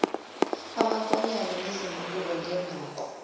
amankonyane nezingulube ngenduku